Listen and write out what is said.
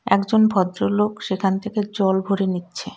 একজন ভদ্রলোক সেখান থেকে জল ভরে নিচ্ছে.